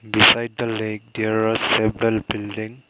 beside the lake there are several building.